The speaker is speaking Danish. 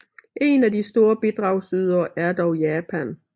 En af de store bidragsydere er dog Japan